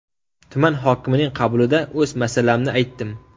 Tuman hokimining qabulida o‘z masalamni aytdim.